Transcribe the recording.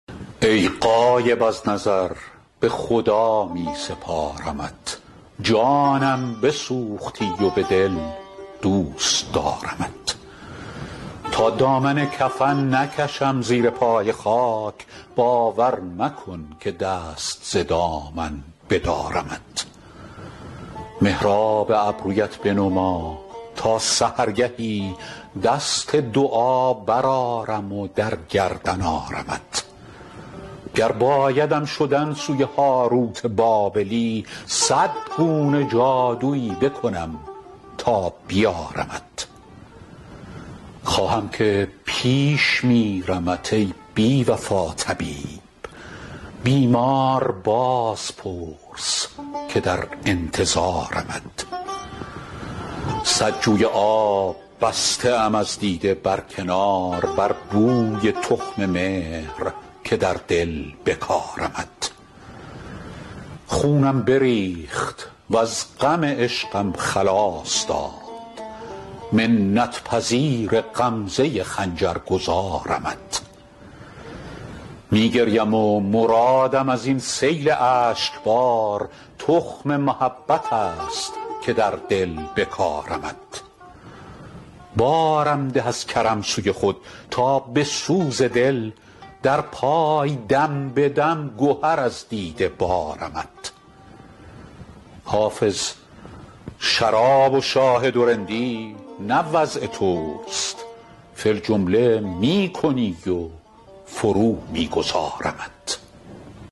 ای غایب از نظر به خدا می سپارمت جانم بسوختی و به دل دوست دارمت تا دامن کفن نکشم زیر پای خاک باور مکن که دست ز دامن بدارمت محراب ابرویت بنما تا سحرگهی دست دعا برآرم و در گردن آرمت گر بایدم شدن سوی هاروت بابلی صد گونه جادویی بکنم تا بیارمت خواهم که پیش میرمت ای بی وفا طبیب بیمار باز پرس که در انتظارمت صد جوی آب بسته ام از دیده بر کنار بر بوی تخم مهر که در دل بکارمت خونم بریخت وز غم عشقم خلاص داد منت پذیر غمزه خنجر گذارمت می گریم و مرادم از این سیل اشک بار تخم محبت است که در دل بکارمت بارم ده از کرم سوی خود تا به سوز دل در پای دم به دم گهر از دیده بارمت حافظ شراب و شاهد و رندی نه وضع توست فی الجمله می کنی و فرو می گذارمت